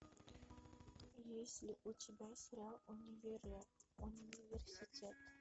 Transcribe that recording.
есть ли у тебя сериал университет